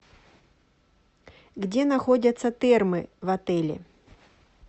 где находятся термы в отеле